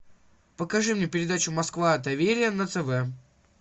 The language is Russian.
покажи мне передачу москва доверие на тв